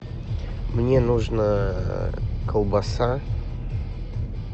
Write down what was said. мне нужно колбаса